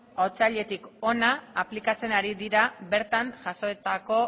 otsailetik hona aplikatzen ari dira bertan jasotako